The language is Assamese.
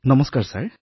নমস্কাৰ মহোদয়